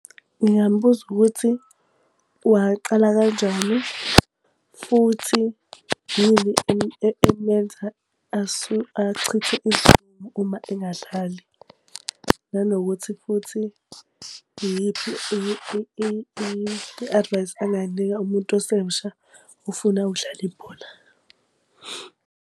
Ngingambuza ukuthi waqala kanjani, futhi yini emenza achithe isizungu uma engadlali. Nanokuthi futhi iyiphi i-advise angayinika umuntu osemsha ofuna ukudlala ibhola.